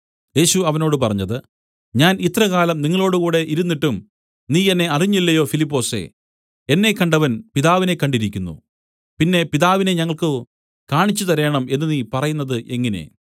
യേശു അവനോട് പറഞ്ഞത് ഞാൻ ഇത്രകാലം നിങ്ങളോടുകൂടെ ഇരുന്നിട്ടും നീ എന്നെ അറിഞ്ഞില്ലയോ ഫിലിപ്പൊസേ എന്നെ കണ്ടവൻ പിതാവിനെ കണ്ടിരിക്കുന്നു പിന്നെ പിതാവിനെ ഞങ്ങൾക്കു കാണിച്ചുതരേണം എന്നു നീ പറയുന്നത് എങ്ങനെ